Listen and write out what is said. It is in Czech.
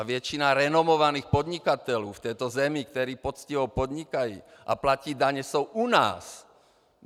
A většina renomovaných podnikatelů v této zemi, kteří poctivě podnikají a platí daně, jsou u nás!